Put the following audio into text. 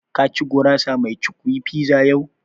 Ka ci gurasa mai cukwi (pizza) fiza yau?